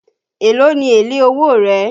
Èló ni èlé owó rẹ̀?